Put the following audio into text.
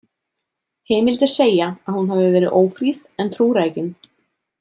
Heimildir segja að hún hafi verið ófríð en trúrækin.